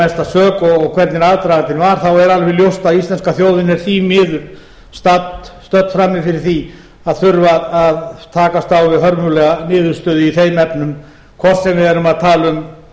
mesta sök og hvernig aðdragandinn var þá er alveg ljóst að íslenska þjóðin er því miður stödd frammi fyrir því að þurfa að takast á við hörmulega niðurstöðu í þeim efnum hvort sem við erum að tala um